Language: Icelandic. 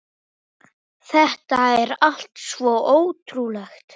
Þetta er allt svo ótrúlegt